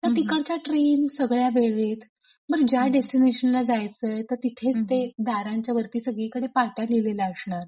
तर तिकडच्या ट्रेन सगळ्या वेळेत. बरं ज्या डेस्टीनेशन ला जायचंय तर तिथेच ते दारांच्या वरती सगळीकडे पाट्या लिहिलेल्या असणार.